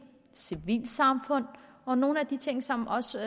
civilsamfundet og nogle af de ting som også